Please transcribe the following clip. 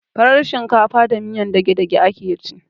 Farar shinkafa da miyan dagedage ake ci